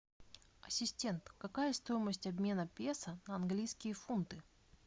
ассистент какая стоимость обмена песо на английские фунты